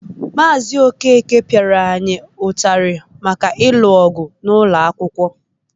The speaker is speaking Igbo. Maazị Okeke pịara anyị ụtarị maka ịlụ ọgụ n'ụlọ akwụkwọ.